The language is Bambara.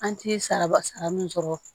An ti saraba sara min sɔrɔ